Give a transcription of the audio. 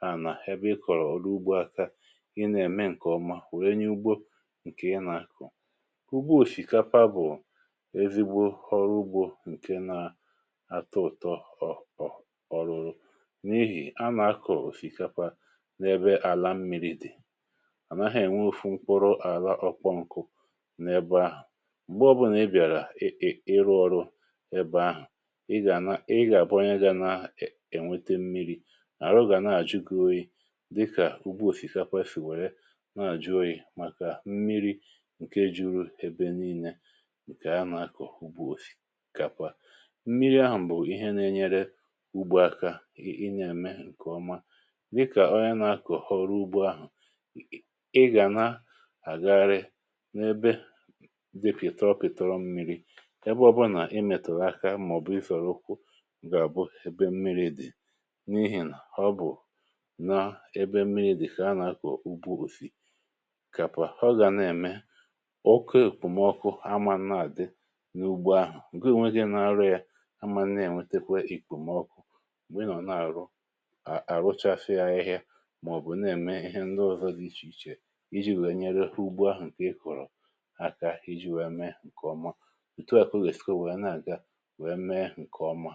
hà nà ebe ị kọ̀rọ̀ ọrụ ugbȯ aka. Ị nà-ème nke ọma, wèe nye ugbȯ nke na-akọ̀ kà ugbȯ òsìkàpà, bụ̀ ezigbo ọrụ ugbȯ nke nà-atọ ụ̀tọ̀. Ọrụ̀rụ̀ n’ihì a nà-akọ̀ òsìkàpà n’ebe àlà mmiri̇ dị̀, ànaghị ènwe ofu mkpụrụ àlà ọkpọ nkụ̇. N’ebe ahụ̀, m̀gbè ọ̇ bụ̀.. nà ị bịàrà ịrụ ọrụ, ị gà abụọ onye gà na-ènwete mmiri̇ arụ̀gà, na-àjụgo yi̇ dịkà ugu òsìkàpà, kà efì wèrè na-àjụ oyi̇, màkà mmiri̇ nke jùrù ebe niile. Nke a, nà-akọ̀ ugbȯ òsìkàpà, mmiri ahụ̀ bụ̀ m̀bụ̀ ihe nà-ènyere ugbȯ aka. um Ị nà-ème nke ọma, dịkà onye na-akọ̀ ọrụ ugbȯ ahụ̀, ị gà na-àgagharị n’ebe dị pịtọ̀-pịtọrọ̀ mmiri̇... Ebe ọbụnà, ị mètùrù akȧ, ǹgà-àbụ ebe mmiri dị n’ihìnà, ọ bụ̀ nà ebe mmiri dị, kà a nà-akọ̀ ugbȯ òsìkàpà. Ọ gà nà-ème oké ìkpòmọkụ, um àmà nna àdị n’ugbȯ ahụ̀ nke onweghị nà-arụ yȧ; àmà nnè, ènwetekwe ìkpòmọkụ. M̀gbè nọ̀ n’àrụ, àrụchàfè ahịhịa, màọ̀bụ̀ na-ème ihe nọọ̀zọ̀ dị iche iche, iji̇ wèe nyere ugbȯ ahụ̀ nke ị kụ̀rụ̀ aka, iji̇ wèe mee nke ọma, nke ọma.